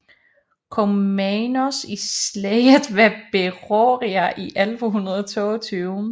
Komnenos i slaget ved Beroia i 1122